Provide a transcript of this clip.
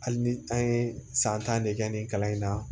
Hali ni an ye san tan de kɛ nin kalan in na